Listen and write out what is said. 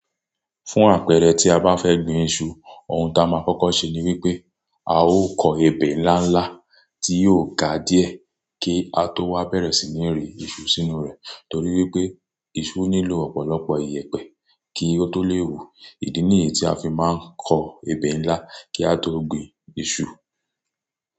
Fún àpẹẹrẹ tí a bá fẹ́ gbin iṣu, ohun tí a máa kọ́kọ́ ṣe ni wípé a ó kọ ebè ńlá ńlá tí yóò ga díẹ̀ kí a tó wá bẹ̀rẹ̀ sí ní rí iṣu sínú rẹ̀. Torí wípé iṣu nílò ọ̀pọ̀lọpọ̀ ìyẹ̀pẹ̀ kí ó tó lè wù. Ìdí nìyẹn tí a fi máa ń kọ ebè ńlá kí a tó gbin iṣu.